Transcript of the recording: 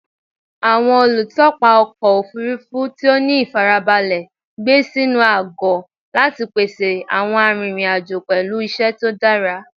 Awọn olutọpa ọkọ ofurufu ti o ni ifarabalẹ gbe sinu agọ lati pese awọn arinrin-ajo pẹlu iṣẹ to dara